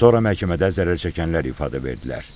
Sonra məhkəmədə zərərçəkənlər ifadə verdilər.